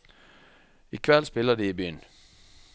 I kveld spiller de i byen.